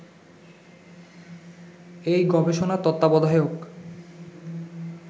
এই গবেষণার তত্ত্বাবধায়ক